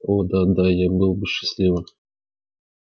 о да да я был бы счастливым